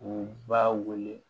U b'a wele